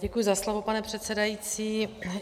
Děkuji za slovo, pane předsedající.